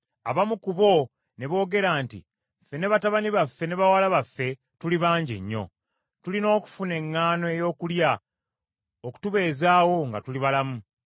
Abamu ku bo ne boogera nti, “Ffe, ne batabani baffe ne bawala baffe tuli bangi nnyo, tulina okufuna eŋŋaano ey’okulya okutubeezaawo nga tuli balamu.”